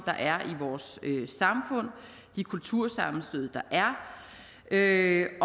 og de kultursammenstød der er i